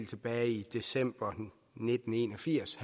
tilbage i december nitten en og firs